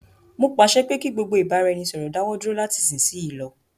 Mó pàṣẹ pé kí gbogbo ìbáraẹnisọ̀rọ̀ dáwọ dúró lati isisiyi lọ.